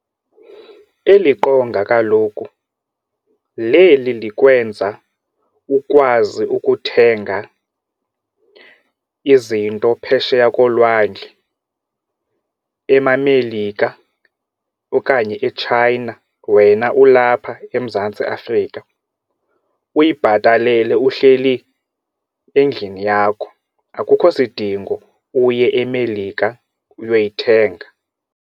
Eli qonga kaloku leli likwenza ukwazi ukuthenga izinto phesheya kolwandle emaMelika okanye eChina wena ulapha eMzantsi Afrika, uyibhatalele uhleli endlini yakho. Akukho sidingo uye eMelika uyoyithenga.